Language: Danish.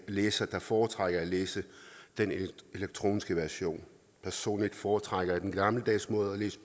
læsere der foretrækker at læse den elektroniske version personligt foretrækker jeg den gammeldags måde at læse